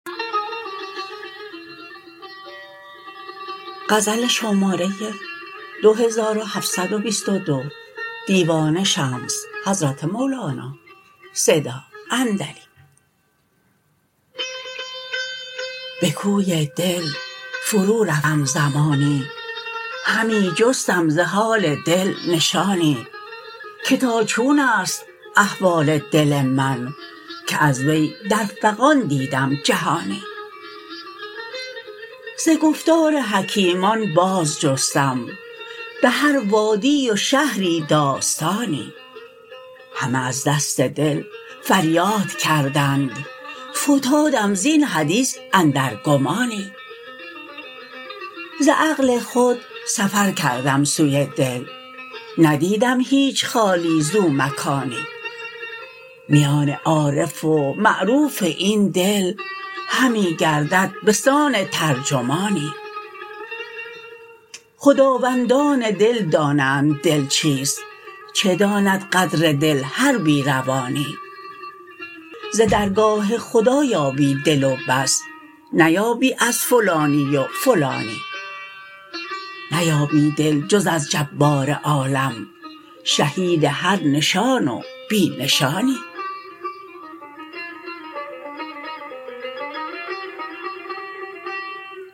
به کوی دل فرورفتم زمانی همی جستم ز حال دل نشانی که تا چون است احوال دل من که از وی در فغان دیدم جهانی ز گفتار حکیمان بازجستم به هر وادی و شهری داستانی همه از دست دل فریاد کردند فتادم زین حدیث اندر گمانی ز عقل خود سفر کردم سوی دل ندیدم هیچ خالی زو مکانی میان عارف و معروف این دل همی گردد به سان ترجمانی خداوندان دل دانند دل چیست چه داند قدر دل هر بی روانی ز درگاه خدا یابی دل و بس نیابی از فلانی و فلانی نیابی دل جز از جبار عالم شهید هر نشان و بی نشانی